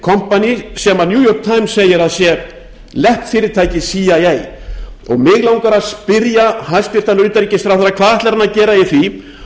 new york times segir að sé leppfyrirtæki cia mig langar að spyrja hæstvirtan utanríkisráðherra hvað ætlar hann að gera í því